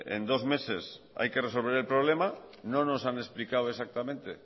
que en dos meses hay que resolver el problema no nos han explicado